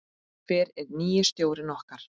Hver er nýi stjórinn okkar?